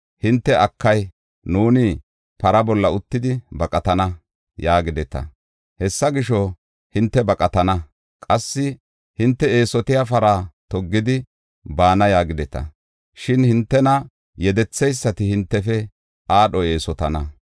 Hinte, ‘Akay, nuuni para bolla uttidi baqatana’ yaagideta; hessa gisho, hinte baqatana. Qassi hinte, ‘Eesotiya para toggidi baana’ ” yaagideta; shin hintena yedetheysati hintefe aadho eesotana.